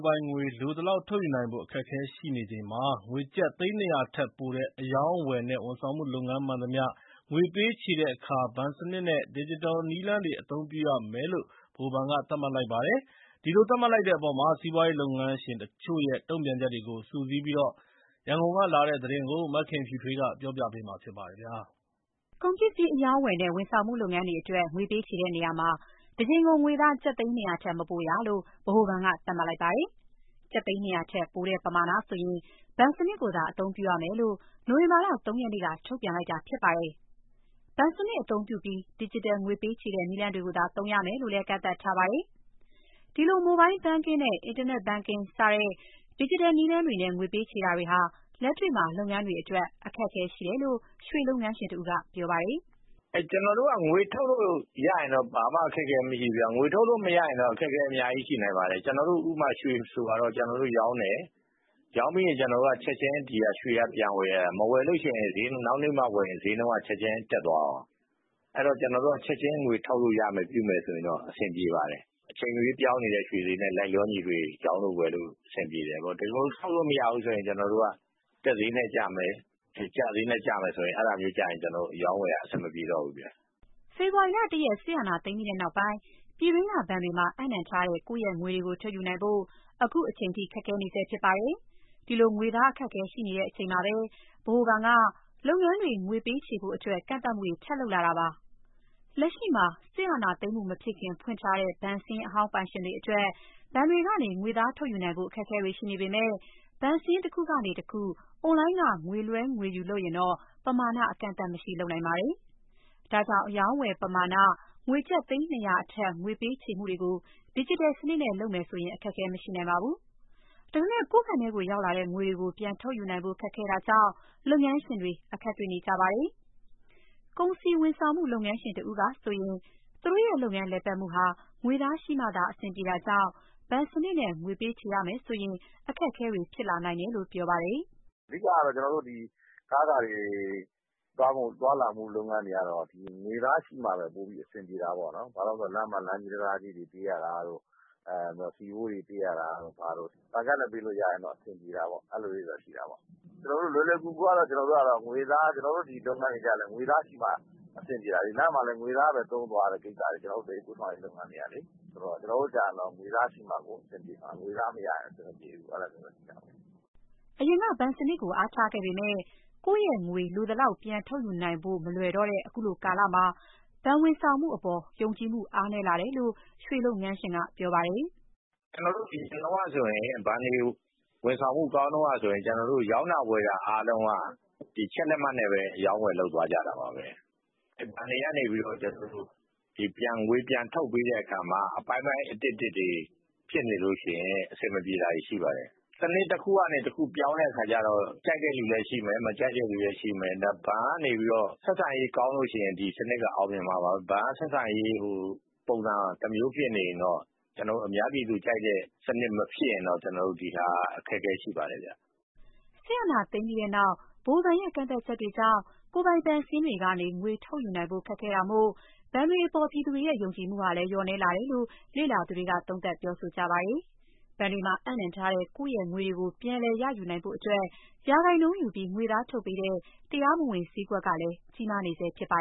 ပိုင်ငွေ လိုသလောက်ထုတ်ယူနိုင်ဖို့ အခက်အခဲရှိနေချိန်မှာ ငွေကျပ် သိန်း ၂၀၀ ထက်ပိုတဲ့ အရောင်းအဝယ်နဲ့ ဝန်ဆောင်မှုလုပ်ငန်းမှန်သမျှ ငွေပေးချေတဲ့အခါ ဘဏ်စနစ်နဲ့ ဒစ်ဂျစ်တယ်နည်းလမ်းတွေကို အသုံးပြုရမယ်လို့ ဗဟိုဘဏ်က သတ်မှတ်လိုက်ပါတယ်။ ဒီလိုသတ်မှတ်လိုက်တဲ့အပေါ်စီးပွားရေးလုပ်ငန်းရှင်တချို့ရဲ့ တုံ့ပြန်ချက်တွေကို စုစည်းပြီး ရန်ကုန်ကလာတဲ့သတင်းကို မခင်ဖြူထွေးက တင်ပြပေးထားပါတယ်။ ကုန်ပစ္စည်းအရောင်းအဝယ်နဲ့ ဝန်ဆောင်မှုလုပ်ငန်းတွေအတွက် ငွေပေးချေတဲ့နေရာမှာ တကြိမ်ကို ငွေသား ကျပ်သိန်း ၂၀၀ ထက်မပိုရလို့ ဗဟိုဘဏ်က သတ်မှတ်လိုက်တာပါ။ ကျပ်သိန်း ၂၀၀ ထက်ပိုတဲ့ပမာဏဆိုရင် ဘဏ်စနစ်ကိုသာ အသုံးပြုရမယ်လို့ နိုဝင်ဘာလ ၃ ရက်နေ့က ထုတ်ပြန်ခဲ့တာဖြစ်ပါတယ်။ ဘဏ်စနစ်အသုံးပြုပြီး ဒစ်ဂျစ်တယ် ငွေပေးချေတဲ့ နည်းလမ်းတွေကိုသာ သုံးရမယ်လို့လည်း ကန့်သတ်ထားပါတယ်။ ဒီလို Mobile banlking, Internet banking စတဲ့ ဒစ်ဂျစ်တယ်နည်းလမ်းတွေနဲ့ ငွေပေးချေတာဟာ လက်တွေ့မှာ လုပ်ငန်းတွေအတွက် အခက်အခဲရှိတယ်လို့ ရွှေလုပ်ငန်းရှင်တဦးက ပြောပါတယ်။ "ကျနော်တို့က ငွေထုတ်လို့ရရင်တော့ ဘာမှအခက်အခဲ မရှိဘူးဗျ။ ငွေထုတ်လို့ မရရင်တော့ အခက်အခဲအများကြီး ရှိနိုင်ပါတယ်။ ဥပမာ ရွှေဆိုပါတော့၊ ကျနော်တို့ရောင်းတယ်။ ရောင်းပြီးရင် ဒီရွှေက ချက်ချင်းပြန်ဝယ်တာ၊ နောက်နေ့မှဝယ်ရင် ဈေးနှုန်းကချက်ချင်း တက်သွားရော။ အဲတော့ ကျနော်တို့က ငွေထုတ်လို့ ပြုလို့ရမယ်ဆိုရင်တော့ အဆင်ပြေပါတယ်။ အချိန်မရွေးပြောင်းနေတဲ့ ရွှေဈေးနဲ့ ရောင်းလို့ ဝယ်လို့ အဆင်ပြေတယ်ပေါ့။ တကယ်လို့ ထုတ်လို့မရဘူးဆိုရင် ကျနော်တို့က တက်ဈေးနဲ့ကျမယ်၊ ကျဈေးနဲ့ ကျမယ်ဆိုရင် ကျနော်တို့အရောင်းအဝယ်က အဆင်မပြေတော့ဘူးဗျ။" ဖေဖော်ဝါရီ ၁ ရက်၊ စစ်အာဏာသိမ်းပြီးနောက်ပိုင်း ပြည်တွင်းကဘဏ်တွေမှာ အပ်နှံထားတဲ့ ကိုယ့်ရဲ့ငွေတွေကို ထုတ်ယူနိုင်ဖို့ အခုချိန်ထိ ခက်ခဲနေပါတယ်။ ဒီလို ငွေသားအခက်အခဲ ရှိနေချိန်မှာပဲ ဗဟိုဘဏ်က လုပ်ငန်းတွေငွေပေးချေဖို့အတွက် ကန့်သတ်မှုတွေ ထပ်လုပ်နေတာပါ။ လက်ရှိမှာ စစ်အာဏာသိမ်းမှုမဖြစ်ခင် ဖွင့်ထားတဲ့ ဘဏ်စာရင်းအဟောင်းပိုင်ရှင်တွေအတွက် ဘဏ်တွေကနေ ငွေသားထုတ်ယူနိုင်ဖို့ အခက်အခဲတွေ ရှိနေပေမဲ့ ဘဏ်စာရင်း တခုကနေတခု အွန်လိုင်းက ငွေလွှဲ ငွေယူလုပ်ရင်တော့ ပမာဏ အကန့်အသတ်မရှိ လုပ်နိုင်ပါတယ်။ ဒါကြောင့် အရောင်းအဝယ်ပမာဏ ငွေကျပ် သိန်း ၂၀၀ အထက် ပေးချေမှုတွေကို ဒစ်ဂျစ်တယ်စနစ်နဲ့ လုပ်မယ်ဆို အခက်အခဲမရှိနိုင်ပါဘူး။ ဒါပေမဲ့ ကိုယ့်ဘဏ်ထဲရောက်လာတဲ့ ငွေတွေကို ပြန်ထုတ်ယူနိုင်ဖို့ ခက်ခဲတာကြောင့် လုပ်ငန်းရှင်တွေ အခက်တေ့ွနေကြတာပါ။ ကုန်စည်ဝန်ဆောင်မှု လုပ်ငန်းရှင်တဦးကဆိုရင် သူတို့ရဲ့လုပ်ငန်း လည်ပတ်မှုဟာ ငွေသားရှိမှသာ အဆင်ပြေတာကြောင့် ဘဏ်စနစ်နဲ့ ငွေပေးချေရမယ်ဆို အခက်အခဲတွေ ဖြစ်လာနိုင်မယ်လို့ ပြောပါတယ်။ "အဓိကကတော့ ကျနော်တို့ ဒီ ကားတွေသွားလာမှု လုပ်ငန်းတွေကတော့ ငွေသားရှိမှပဲ ပိုပြီးအဆင်ပြေတာပေါ့နော်။ ဘာဖြစ်လို့လဲဆိုတော့ လမ်းမှာ လမ်းကြေး၊ တံတားကြေးတွေ ပေးရတာတို့၊ ဆီဖိုးတွေပေးရတာတို့ ဘာတို့၊ ဘဏ်ကဒ်နဲ့ ပေးလို့ရရင်တော့ အဆင်ပြေတာပေါ့။ လွယ်လွယ်ကူကူကတော့ ကျနော်တို့ ဒီလုပ်ငန်းတွေကျတော့လည်း ငွေသားရှိမှ အဆင်ပြေတာလေ။ လမ်းမှာလည်း ငွေသားပဲသုံးသွားရတာ ကျနော်တို့ သယ်ယူပို့ဆောင်ရေး လုပ်ငန်းတွေကလေ။ ဆိုတော့ ကျနော်တို့ကျတော့ ငွေသားရှိမှ အဆင်ပြေမှာ၊ ငွေသားမရရင်တော့ အဆင်မပြေဘူး။" အရင်က ဘဏ်စနစ်ကို အားထားခဲ့ပေမယ့် ကိုယ့်ရဲ့ငွေ လိုသလောက်ပြန်ထုတ်ယူနိုင်ဖို့ မလွယ်တော့တဲ့ အခုကာလမှာ ဘဏ်ဝန်ဆောင်မှုအပေါ် ယုံကြည်မှုအားနည်းလာတယ်လို့ ရွှေလုပ်ငန်းရှင်က ပြောပါတယ်။ "အရင်တုန်းက ဘဏ်တွေဝန်ဆောင်မှု ကောင်းတုန်းကဆိုရင် ကျနော်တို့ရောင်းတာ ဝယ်တာအားလုံးက ချက်လက်မှတ်နဲ့ပဲ အရောင်းအဝယ် လုပ်သွားကြတာပါပဲ။ ဘဏ်တွေကနေပြီးတော့ ကျနော်တို့ကို ငွေပြန်ထုတ်ပေးတဲ့အခါမှာ အပိုင်းပိုင်း အတစ်တစ်တွေ ဖြစ်နေလို့ရှိရင် အဆင်မပြေတာတွေ ရှိပါတယ်။ စနစ်တခုကနေ တခုပြောင်းတဲ့အခါကျတော့ ကြိုက်တဲ့လူလည်း ရှိမယ်၊ မကြိုက်တဲ့လူလည်း ရှိမယ်။ ဘဏ်ကနေပြီးတော့ ဆက်ဆံရေးကောင်းလို့ရှိရင် ဒီစနစ်က အောင်မြင်မှာပါပဲ။ ဘဏ်ကဆက်ဆံရေး ပုံစံတမျိုးဖြစ်နေရင်တော့ ကျနော်တို့ အများပြည်သူကြိုက်တဲ့ စနစ်မဖြစ်ရင်တော့ ဒီဟာက အခက်အခဲရှိပါတယ်ဗျ။" စစ်အာဏာသိမ်းပြီးနောက် ဗဟိုဘဏ်ရဲ့ ကန့်သတ်ချက်တွေကြောင့် ကိုယ်ပိုင်ဘဏ်စာရင်းတွေကနေ ငွေထုတ်ယူနိုင်ဖို့ ခက်ခဲတာမို့ ဘဏ်တွေအပေါ် ပြည်သူတွေရဲ့ ယုံကြည်မှုဟာလည်း လျော့နည်းလာတယ်လို့ လေ့လာသူတွေက သုံးသပ်ပါတယ်။ ဘဏ်တွေမှာ အပ်နှံထားတဲ့ ကိုယ့်ရဲ့ငွေတွေကို ပြန်လည်ရယူနိုင်ဖို့အတွက် ရာခိုင်နှုန်းယူပြီး ငွေသားထုတ်ပေးတဲ့ တရားမဝင် ဈေးကွက်ကလည်း ကြီးမားနေဆဲ ဖြစ်ပါ